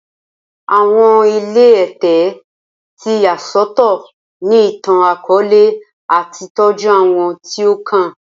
Awọn ile Ẹtẹ ti ya sọtọ ni itan-akọọlẹ ati tọju awọn ti o kan